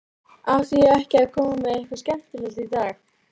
Átti ég ekki að koma með eitthvað skemmtilegt í dag?